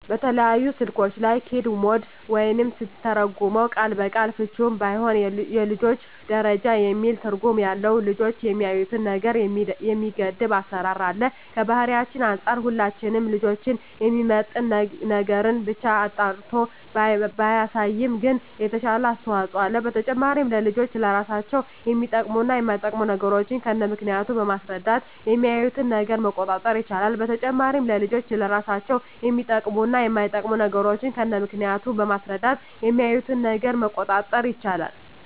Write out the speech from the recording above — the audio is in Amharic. በተለያዩ ስልኮች ላይ "ኪድስ ሞድ" ወይም ስንተረጉመው ቃል በቃል ፍችውም ባይሆን የልጆች ደረጃ የሚል ትርጉም ያለው ልጆች የሚያዪትን ነገር የሚገድብ አሰራር አለ። ከባህላችን አንፃር ሁሉንም ልጆችን የሚመጥን ነገርን ብቻ አጣርቶ ባያሳይም ግን የተሻለ አስተዋጽኦ አለው። በተጨማሪም ለልጆች ለራሳቸው የሚጠቅሙ እና የማይጠቅሙ ነገሮችን ከነምክንያቱ በማስረዳት የሚያዪትን ነገር መቆጣጠር ይቻላል። በተጨማሪም ለልጆች ለራሳቸው የሚጠቅሙ እና የማይጠቅሙ ነገሮችን ከነምክንያቱ በማስረዳት የሚያዪትን ነገር መቆጣጠር ይቻላል።